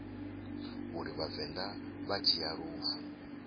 uri vhavenḓa vha dzhia lufu